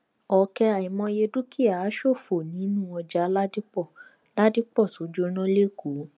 ọkẹ àìmọye dúkìá ṣòfò nínú ọjà ládìpọ ládìpọ tó jóná lẹkọọ